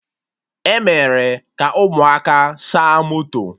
Emere ka ụmụaka saa moto